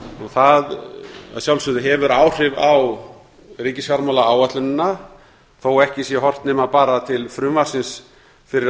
það að sjálfsögðu hefur áhrif á ríkisfjármálaáætlunina þó ekki sé horft nema bara til frumvarpsins fyrir